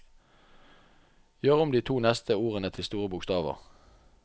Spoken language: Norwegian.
Gjør om de to neste ordene til store bokstaver